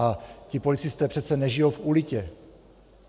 A ti policisté přece nežijí v ulitě.